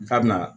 K'a bɛna